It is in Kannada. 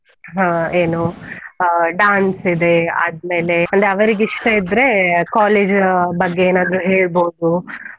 ಹಾ ಏನು ಆ dance ಇದೆ, ಆದ್ಮೇಲೆ ಅಂದ್ರೆ ಅವರಿಗೆ ಇಷ್ಟ ಇದ್ರೆ college ಬಗ್ಗೆ ಏನಾದ್ರೂ ಹೇಳ್ಬೋದು.